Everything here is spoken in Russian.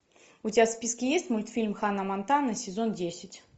у тебя в списке есть мультфильм ханна монтана сезон десять